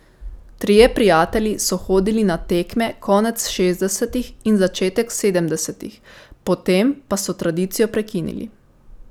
Trije prijatelji so hodili na tekme konec šestdesetih in začetek sedemdesetih, potem pa so tradicijo prekinili.